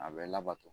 A bɛ labato